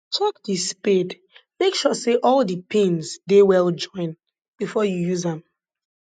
check di spade make sure say all di pins dey well join before you use am